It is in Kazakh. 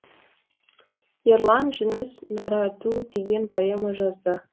ерлан жүніс нараду деген поэма жазды